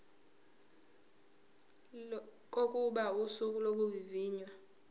kokuba usuku lokuvivinywa